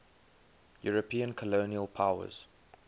european colonial powers